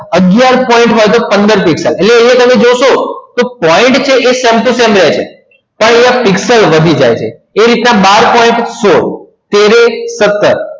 આગયાર point હોય તો પંદર પીક્સલ એટલે હવે તમે જોશોતો point આ સામે તો સામે રેય છે પણ અહિયાં પીક્સલ વધી જાય છે એવી રીતના બાર point આ સોડ અગિયાર point હોય તો સતાર